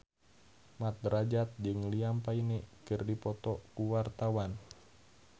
Mat Drajat jeung Liam Payne keur dipoto ku wartawan